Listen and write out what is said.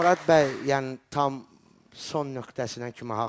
Murad bəy, yəni tam son nöqtəsinə kimi haqlıdır.